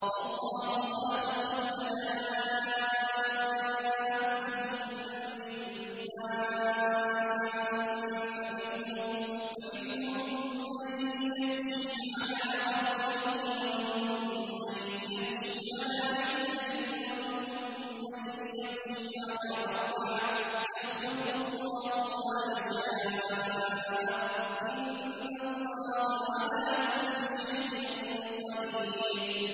وَاللَّهُ خَلَقَ كُلَّ دَابَّةٍ مِّن مَّاءٍ ۖ فَمِنْهُم مَّن يَمْشِي عَلَىٰ بَطْنِهِ وَمِنْهُم مَّن يَمْشِي عَلَىٰ رِجْلَيْنِ وَمِنْهُم مَّن يَمْشِي عَلَىٰ أَرْبَعٍ ۚ يَخْلُقُ اللَّهُ مَا يَشَاءُ ۚ إِنَّ اللَّهَ عَلَىٰ كُلِّ شَيْءٍ قَدِيرٌ